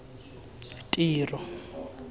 tiro